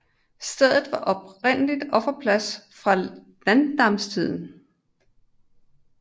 Stedet var oprindelig offerplads fra landnamstiden